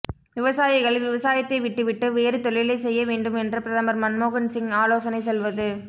விவசாயிகள் விவசாயத்தை விட்டுவிட்டு வேறு தொழிலைச் செய்ய வேண்டும் என்று பிரதமர் மன்மோகன் சிங் ஆலோசனை சொல்வது